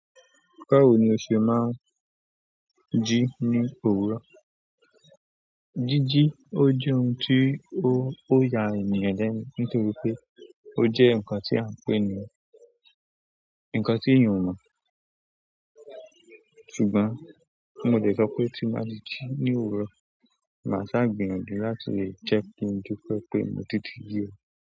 Báwo ni oṣe máa ń jí ní òwúrọ̀. Jíjí, ó jẹ́ ohun tí ó, ó ya ènìyàn lẹ́nu nítorí pé ó jẹ́ ǹkan tí à ń pè ní, ǹkan tí èèyàn o mọ̀. Ṣùgbọ́n mo jẹ̀ sọ pé tí máa ji ní òwúrọ̀, màá ṣá gbìyànjú láti leè je kin dupẹ́ pé mo ti di yíyọ̀.